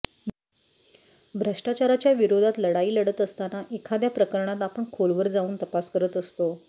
भ्रष्टाचाराच्या विरोधात लढाई लढत असताना एखाद्या प्रकरणात आपण खोलवर जाऊन तपास करत असतो